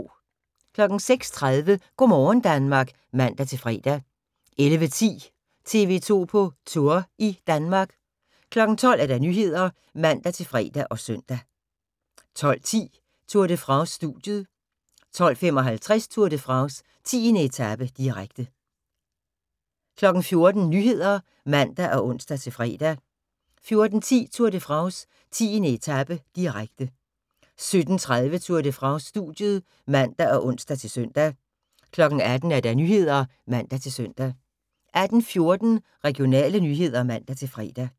06:30: Go' morgen Danmark (man-fre) 11:10: TV 2 på Tour – i Danmark 12:00: Nyhederne (man-fre og søn) 12:10: Tour de France: Studiet 12:55: Tour de France: 10. etape, direkte 14:00: Nyhederne (man og ons-fre) 14:10: Tour de France: 10. etape, direkte 17:30: Tour de France: Studiet (man og ons-søn) 18:00: Nyhederne (man-søn) 18:14: Regionale nyheder (man-fre)